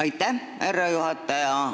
Aitäh, härra juhataja!